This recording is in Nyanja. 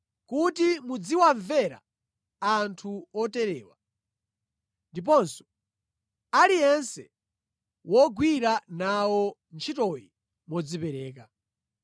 kuti muziwamvera anthu oterewa, ndiponso aliyense wogwira nawo ntchitoyi modzipereka.